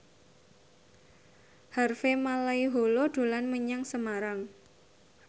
Harvey Malaiholo dolan menyang Semarang